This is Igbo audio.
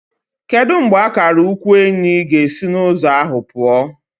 Kedu mgbe akara ukwu Enyi ga-esi n'ụzọ ahụ pụọ?